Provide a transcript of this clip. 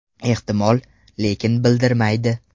Ehtimol, lekin bildirmaydi.